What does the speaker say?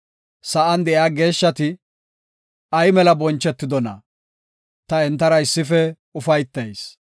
Sa7an de7iya geeshshati ay mela bonchetidonaa! Ta entara issife ufaytayis.